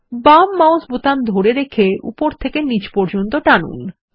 বাম মাউস বোতাম ধরে রেখে উপর থেকে নীচ পর্যন্ত টেনে আনুন